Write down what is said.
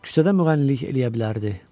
Küçədə müğənnilik eləyə bilərdi.